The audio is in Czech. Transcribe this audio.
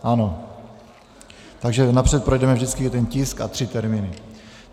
Ano, takže napřed projdeme vždycky jeden tisk a tři termíny.